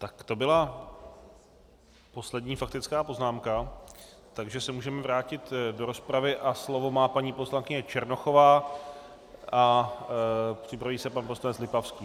Tak to byla poslední faktická poznámka, takže se můžeme vrátit do rozpravy a slovo má paní poslankyně Černochová a připraví se pan poslanec Lipavský.